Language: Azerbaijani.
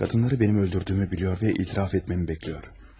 Qadınları mənim öldürdüyümü bilir və etiraf etməyimi gözləyir.